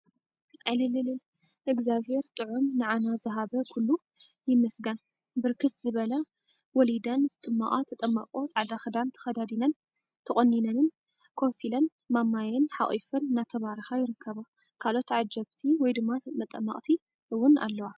ዕልልል እግዚአብሄር ጥዑም ንዓና ዝሃበ ኩሉ ይመስገን፡፡ ብርክት ዝበለ ወሊደን ዝጥመቃ ተጠማቆ ፃዕዳ ክዳን ተከዳዲነንን ተቆኒነንን ኮፍ ኢለን ማማየን ሓቍፈን እናተባረካ ይርከባ፡፡ ካልኦት ዓጀብቲ/መጠመቅቲ እውን አለዋ፡፡